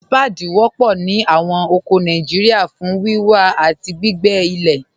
Ṣpáàdí wọ̀pọ̀ ní awọn oko Nàìjíríà fún wíwà àti gbìgbé ilẹ̀.